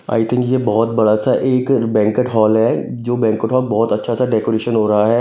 आई think ये बहुत बड़ा सा एक बैंककट हॉल है जो बैंककट हॉल बहुत अच्छा सा डेकोरेशन हो रहा है।